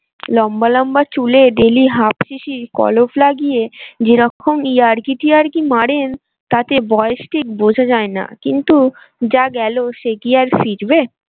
লম্বা লম্বা চুলে daily half শিশি কলপ লাগিয়ে যেরকম ইয়ার্কি টিয়ার্কি মারেন তাতে বয়স ঠিক বোঝা যায় না কিন্তু যা গেলো সে কি আর ফিরবে।